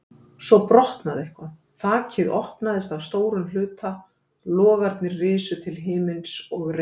Svo brotnaði eitthvað, þakið opnaðist að stórum hluta, logarnir risu til himins og reyk